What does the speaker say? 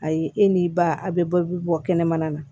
Ayi e ni ba a be bɔ bi bɔ kɛnɛmana na